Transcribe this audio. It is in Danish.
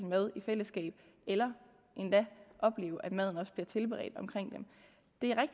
mad i fællesskab eller endda opleve at maden bliver tilberedt omkring dem det